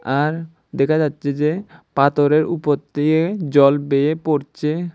আর দেখা যাচ্ছে যে পাথরের উপর দিয়ে জল বেয়ে পড়ছে।